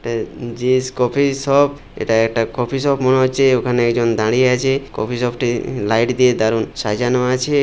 তে জিস কফি । এটা একটা কফি শপ মনে হচ্ছে ওখানে একজন দাঁড়িয়ে আছে। কফি শপ -টি লাইট দিয়ে দারুন সাজানো আছে ।